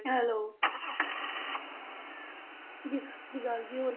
Hello ਜੀ ਸਤਿ ਸ੍ਰੀ ਅਕਾਲ ਜੀ ਹੋਰ